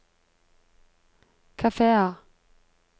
kafeer